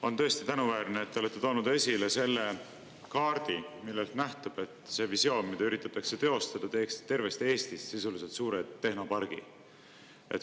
On tõesti tänuväärne, et te olete toonud esile selle kaardi, millest nähtub, et see visioon, mida üritatakse teostada, teeks tervest Eestist sisuliselt suure tehnopargi.